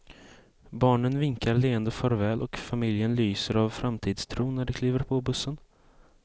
Barnen vinkar leende farväl och familjen lyser av framtidstro när de kliver på bussen.